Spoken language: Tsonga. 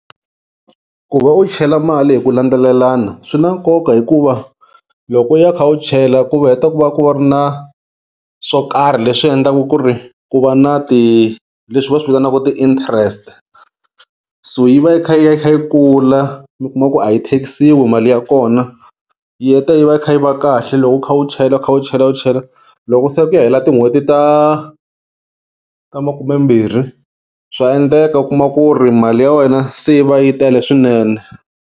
Ku va u chela mali hi ku landzelelana swi na nkoka hikuva loko u ya u kha u chela ku heta ku va ku va ri na swo karhi leswi endlaku ku ri ku va na ti leswi va swi vitanaka ti-interest so yi va yi kha yi ya yi kula mi kuma ku a yi tax-iwi mali ya kona yi heta yi va yi kha yi va kahle loko u kha u chela u kha u chela u chela loko se ku ya hela tin'hweti ta ta makumembirhi swa endleka u kuma ku ri mali ya wena se yi va yi tele swinene.